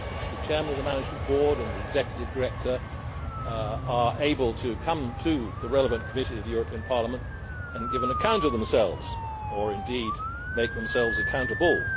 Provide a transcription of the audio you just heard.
The chairman of the management board and the executive director are able to come to the relevant committee of the European Parliament and give an account of themselves, or indeed make themselves accountable.